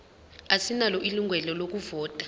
asinalo ilungelo lokuvota